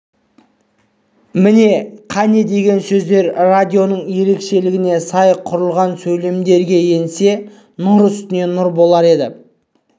міне қане деген сөздер радионың ерекшілігіне сай құрылған сөйлемдерге енсе нұр үстіне нұр болар еді